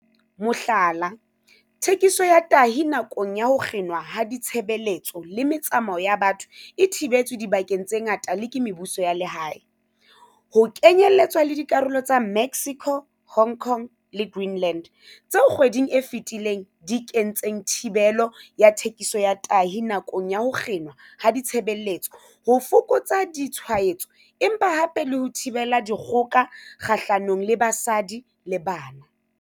Mohlala, thekiso ya tahi nakong ya ho kginwa ha ditshebeletso le metsamao ya batho e thibetswe dibakeng tse ngata le ke mebuso ya lehae, ho kenyeletswa dikarolo tsa Mexico, Hong Kong le Green-land, tseo kgweding e fetileng di kentseng thibelo ya thekiso ya tahi nakong ya ho kginwa ha ditshebeletso ho fokotsa ditshwaetso empa hape le 'ho thibela dikgoka kgahlanong le basadi le bana.'